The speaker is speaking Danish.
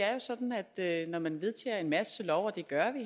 er jo sådan at når man vedtager en masse love og det gør vi